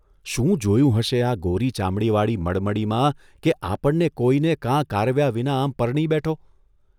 શું જોયું હશે આ ગોરી ચામડીવાળી મડમડીમાં કે આપણને કોઇને કાં કારવ્યા વિના આમ પરણી બેઠો?